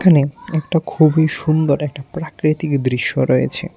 এখানে একটা খুবই সুন্দর একটা প্রাকৃতিক দৃশ্য রয়েছে।